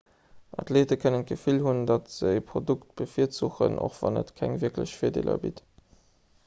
athleete kënnen d'gefill hunn datt se ee produkt bevirzuchen och wann et keng wierklech virdeeler bitt